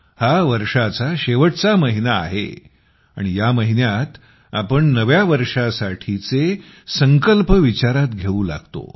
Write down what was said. हा वर्षाचा शेवटचा महिना आहे आणि या महिन्यात आपण नव्या वर्षासाठीचे संकल्प विचारात घेऊ लागतो